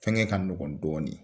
Fɛn kɛ ka nɔgɔ dɔɔni